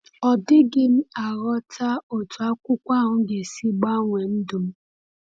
Ọ dịghị m aghọta otú akwụkwọ ahụ ga-esi gbanwee ndụ m.